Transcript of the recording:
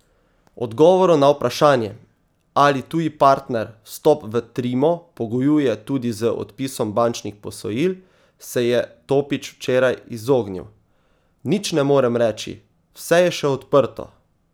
Odgovoru na vprašanje, ali tuji partner vstop v Trimo pogojuje tudi z odpisom bančnih posojil, se je Topič včeraj izognil: 'Nič ne morem reči, vse je še odprto.